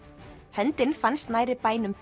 höndin fannst nærri bænum